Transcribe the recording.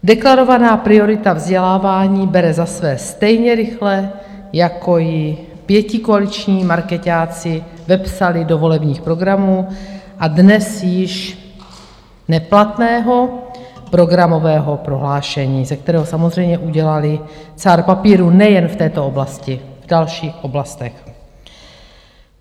Deklarovaná priorita vzdělávání bere za své stejně rychle, jako ji pětikoaliční markeťáci vepsali do volebních programů a dnes již neplatného programového prohlášení, ze kterého samozřejmě udělali cár papíru - nejen v této oblasti, v dalších oblastech.